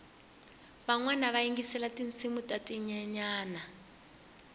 vanwana va yingisela tinsimu ta tinyenyani